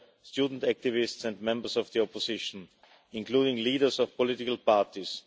student activists and members of the opposition, including leaders of political parties.